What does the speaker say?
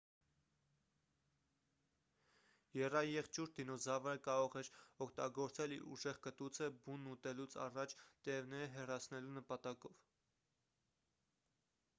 եռաեղջյուր դինոզավրը կարող էր օգտագործել իր ուժեղ կտուցը բունն ուտելուց առաջ տերևները հեռացնելու նպատակով